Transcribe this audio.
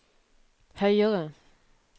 høyere